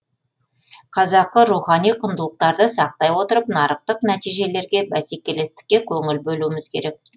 қазақы рухани құндылықтарды сақтай отырып нарықтық нәтижелерге бәсекелестікке көңіл бөлуіміз керек